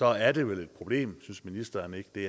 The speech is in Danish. er det vel et problem synes ministeren ikke det